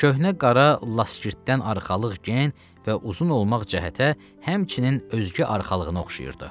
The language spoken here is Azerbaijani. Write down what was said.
Köhnə qara laskirtdən arxalıq gen və uzun olmaq cəhətə həmçinin özgə arxalığına oxşayırdı.